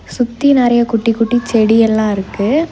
சுத்தி நறைய குட்டி குட்டி செடி எல்லா இருக்கு.